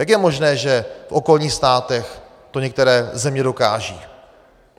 Jak je možné, že v okolních státech to některé země dokážou?